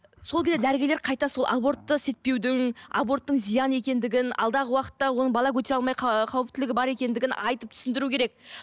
сол кезде дәрігерлер қайта сол абортты істетпеудің аборттың зиян екендігін алдағы уақытта оның бала көтере алмай қауіптілігі бар екендігін айтып түсіндіру керек